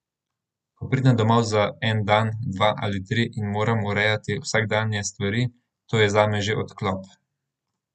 Ko pridem domov za en dan, dva ali tri in moram urejati vsakdanje stvari, to je zame že odklop.